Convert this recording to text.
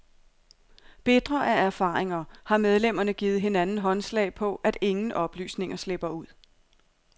Bitre af erfaringer har medlemmerne givet hinanden håndslag på, at ingen oplysninger slipper ud.